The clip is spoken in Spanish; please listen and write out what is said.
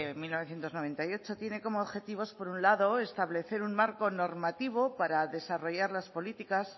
mil novecientos noventa y ocho tiene como objetivos por un lado establecer un marco normativo para desarrollar las políticas